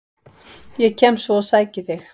Ég kem svo og sæki þig.